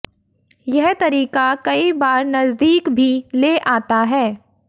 यह तरीका कई बार नजदीक भी ले आता है